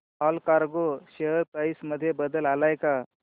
Allcargo share price मध्ये बदल आलाय का